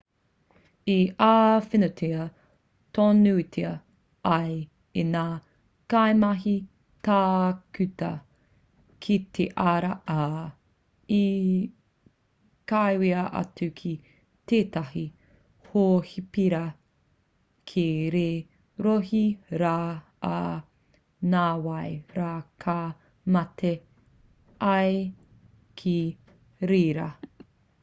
i āwhinatia tonutia ia e ngā kaimahi tākuta ki te ara ā i kawea atu ki tētahi hōhipera ki te rohe rā ā nāwai rā ka mate ia ki reira